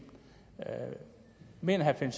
mener herre finn